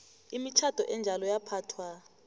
imitjhado enjalo yaphathwa